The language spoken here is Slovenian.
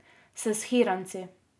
S shiranci.